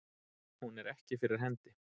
Hún er ekki fyrir hendi.